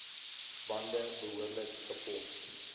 bande behoorlik gepomp